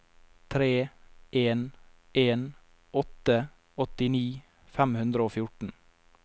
tre en en åtte åttini fem hundre og fjorten